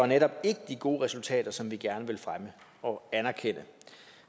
netop ikke de gode resultater som vi gerne vil fremme og anerkende